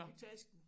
I tasken